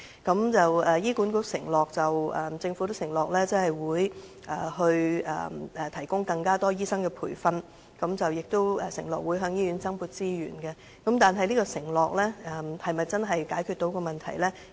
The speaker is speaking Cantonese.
雖然醫管局及政府均承諾會提供更多醫生培訓，以及向醫院增撥資源，但我們非常憂慮這項承諾能否真正解決問題。